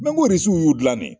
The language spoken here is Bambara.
RISIW y'u dilannen.